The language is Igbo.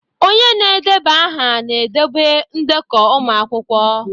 Ee, onye na-edeba aha na-edobe ndekọ ụmụ akwụkwọ.